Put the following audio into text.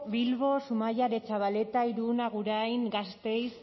bilbo zumaia aretxabaleta irun agurain gasteiz